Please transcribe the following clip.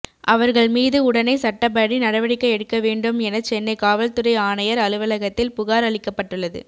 அவர்கள் மீது உடனே சட்டப்படி நடவடிக்கை எடுக்க வேண்டும் என சென்னை காவல்துறை ஆணையர் அலுவலகத்தில் புகார் அளிக்கப்பட்டுள்ளது